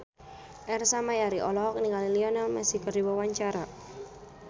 Ersa Mayori olohok ningali Lionel Messi keur diwawancara